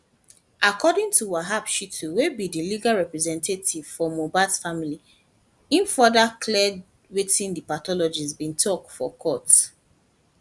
according to wahab shittu wey be di legal representative for mohbad family im further clear wetin di pathologist bin tok for court